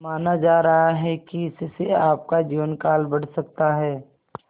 माना जा रहा है कि इससे आपका जीवनकाल बढ़ सकता है